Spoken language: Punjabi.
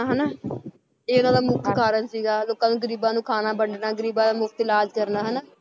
ਹਨਾ ਇਹ ਉਹਨਾਂ ਦਾ ਮੁੱਖ ਕਾਰਜ ਸੀਗਾ, ਲੋਕਾਂ ਨੂੰ ਗ਼ਰੀਬਾਂ ਨੂੰ ਖਾਣਾ ਵੰਡਣਾ, ਗ਼ਰੀਬਾਂ ਦਾ ਮੁਫ਼ਤ ਇਲਾਜ਼ ਕਰਨਾ ਹਨਾ